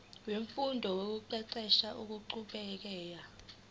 wemfundo nokuqeqesha okuqhubekayo